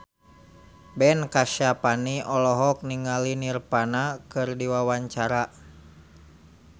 Ben Kasyafani olohok ningali Nirvana keur diwawancara